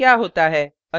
देखें क्या होता है